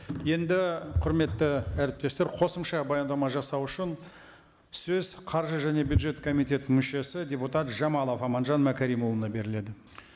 енді құрметті әріптестер қосымша баяндама жасау үшін сөз қаржы және бюджет комитетінің мүшесі депутат жамалов аманжан мәкәрімұлына беріледі